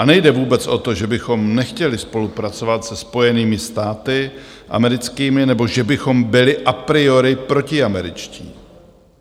A nejde vůbec o to, že bychom nechtěli spolupracovat se Spojenými státy americkými nebo že bychom byli a priori protiameričtí.